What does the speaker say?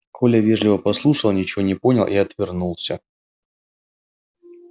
коля вежливо послушал ничего не понял и отвернулся